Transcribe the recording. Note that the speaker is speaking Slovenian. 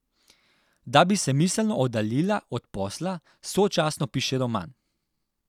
Da bi se miselno oddaljila od posla, sočasno piše roman.